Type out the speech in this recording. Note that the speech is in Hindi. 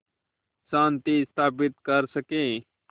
शांति स्थापित कर सकें